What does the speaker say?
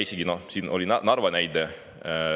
Siin oli Narva näide.